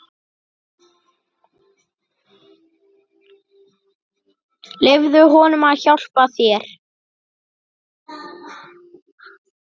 Leyfðu honum að hjálpa þér.